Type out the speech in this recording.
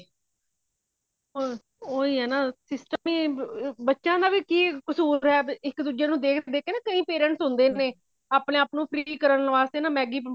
ਉਹੀ ਹੈ ਨਾ system ਹੀ ਬੱਚਿਆ ਦਾ ਕਿ ਕਸੂਰ ਐ ਇੱਕ ਦੁੱਜੇ ਨੂੰ ਦੇਖ ਦੇਖ ਕੇ ਨਾ ਕਈ parents ਹੁੰਦੇ ਨੇ ਆਪਣੇ ਆਪ ਨੂੰ free ਕਰਨ ਵਾਸਤੇ ਨਾ ਨਾ Maggie